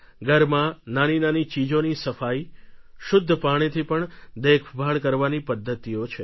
ઘરમાં નાનીનાની ચીજોની સફાઈ શુદ્ધ પાણીથી પણ દેખભાળ કરવાની પદ્ધતિઓ છે